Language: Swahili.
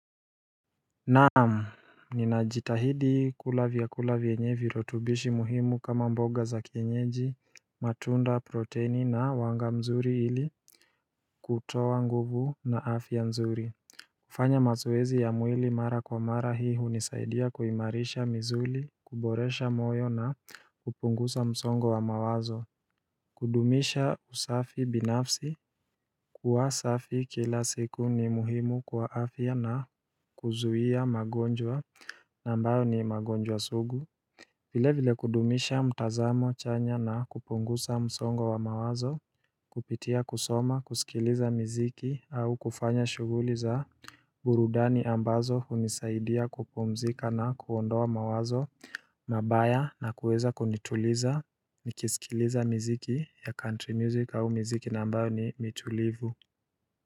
Naam, ninajitahidi kula vyakula vyenye virutubishi muhimu kama mboga za kienyeji matunda proteini na wanga mzuri ili kutoa nguvu na afya nzuri. Kufanya mazoezi ya mwili mara kwa mara hii hunisaidia kuimarisha misuli kuboresha moyo na kupunguza msongo wa mawazo. Kudumisha usafi binafsi kuwasafi kila siku ni muhimu kwa afya na kuzuia magonjwa ambayo ni magonjwa sugu. Vile vile kudumisha mtazamo chanya na kupunguza msongo wa mawazo. Kupitia kusoma kusikiliza miziki au kufanya shughuli za burudani ambazo hunisaidia kupumzika na kuondoa mawazo mabaya na kuweza kunituliza nikisikiliza mziki ya country music au miziki na ambayo ni ni tulivu.